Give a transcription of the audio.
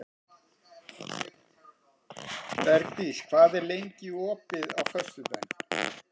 Bergdís, hvað er opið lengi á föstudaginn?